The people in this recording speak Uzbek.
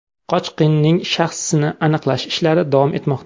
Qochqinning shaxsini aniqlash ishlari davom etmoqda.